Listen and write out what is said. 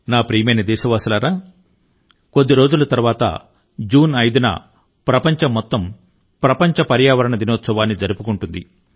నా ప్రియమైన దేశ వాసులారా కొద్ది రోజుల తరువాత జూన్ 5 న ప్రపంచం మొత్తం ప్రపంచ పర్యావరణ దినోత్సవాన్ని జరుపుకుంటుంది